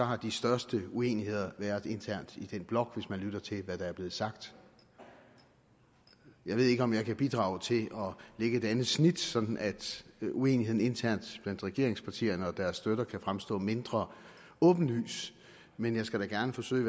har de største uenigheder været internt i den blok hvis man lytter til hvad der er blevet sagt jeg ved ikke om jeg kan bidrage til at lægge et andet snit sådan at uenigheden internt blandt regeringspartierne og deres støtter kan fremstå mindre åbenlyst men jeg skal da gerne forsøge